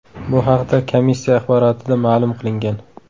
Bu haqda komissiya axborotida ma’lum qilingan .